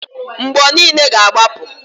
Mgbo niile ga-agbapụ.